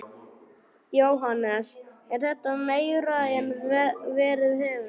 Jóhannes: Er þetta meira en verið hefur?